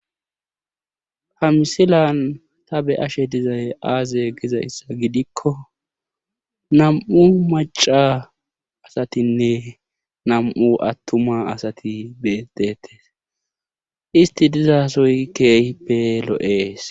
ha misilan ta be7ashe dizay aaze gizayssa gidikko nam7u macca asatinne nam7u attuma asati beetteetes isti diza sohoy keehippe lo7ees.